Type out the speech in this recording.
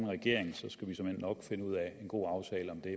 regering skal vi såmænd nok finde ud af en god aftale om det